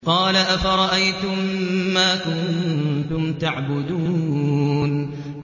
قَالَ أَفَرَأَيْتُم مَّا كُنتُمْ تَعْبُدُونَ